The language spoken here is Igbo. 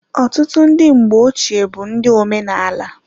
Ọtụtụ ndị mgbe ochee bụ ndị omenala.